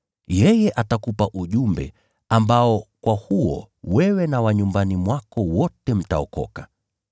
Yeye atakupa ujumbe ambao kwa huo wewe na wa nyumbani mwako wote mtaokoka.’